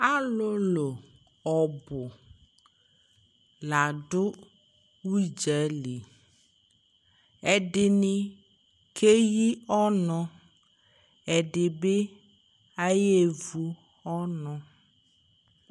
alolo ɔbo la do udza li ɛdini keyi ɔno ɛdi bi aya ɣa evu ɔno